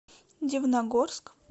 дивногорск